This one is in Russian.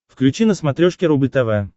включи на смотрешке рубль тв